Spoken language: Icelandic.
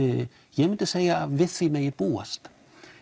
ég myndi segja að við því megi búast